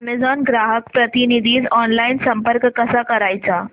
Amazon ग्राहक प्रतिनिधीस online संपर्क कसा करायचा